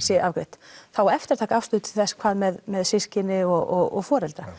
sé afgreitt það á eftir að taka afstöðu til þess hvað með með systkini og foreldra